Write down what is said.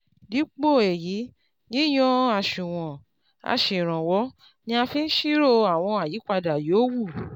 dípò èyí yíyan àṣùwọ̀n aṣèrànwọ́ ni a fi ń ṣírò àwọn àyípadà yòówù